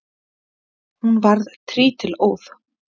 Hún varð trítilóð.